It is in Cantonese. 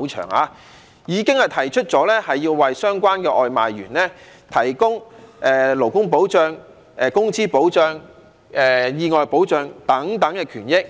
——很長——已經提出了要為相關的外賣員提供勞工保障、工資保障、意外保障等，保障其權益。